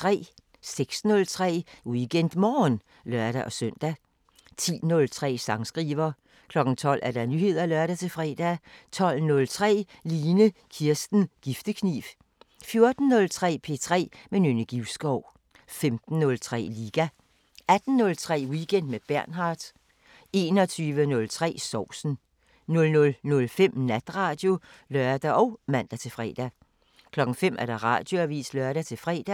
06:03: WeekendMorgen (lør-søn) 10:03: Sangskriver 12:00: Nyheder (lør-fre) 12:03: Line Kirsten Giftekniv 14:03: P3 med Nynne Givskov 15:03: Liga 18:03: Weekend med Bernhard 21:03: Sovsen 00:05: Natradio (lør og man-fre) 05:00: Radioavisen (lør-fre)